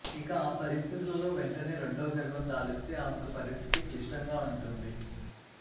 ఇక ఆ పరిస్ధితులలో వెంటనే రెండో గర్భం దాలిస్తే ఆమెకు పరిస్ధితి క్లిష్టంగా వుంటుంది